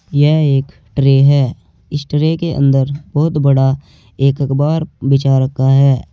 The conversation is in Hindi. यह एक ट्रे है इस ट्रे के अंदर बहुत बड़ा एक अकबार बिछा रखा है।